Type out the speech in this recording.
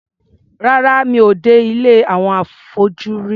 Rárá, mi ò dé ilé àwọn afọ́jú rí.